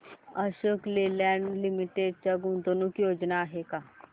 Ashok Leyland limited च्या गुंतवणूक योजना आहेत का